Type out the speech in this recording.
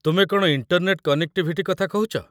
ତୁମେ କ'ଣ internet connectivity କଥା କହୁଛ?